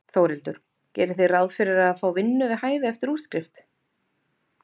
Þórhildur: Gerið þið ráð fyrir að fá vinnu við hæfi eftir útskrift?